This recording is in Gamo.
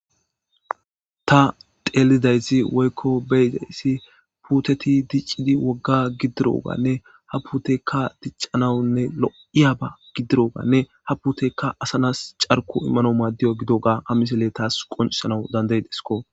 ta teeldayssi woykko beyidayssi puuteti diccidi wogga giddiroganne ha putekka diccanawunne lo7iya ba giddiroganne ha putekka asanas carko immano maaddiyo gidoga ha misele taas qonisanawu danday desko